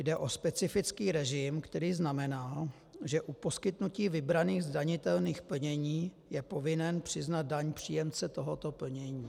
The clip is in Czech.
Jde o specifický režim, který znamená, že u poskytnutí vybraných zdanitelných plnění je povinen přiznat daň příjemce tohoto plnění.